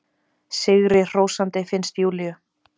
Sigrihrósandi, finnst Júlíu.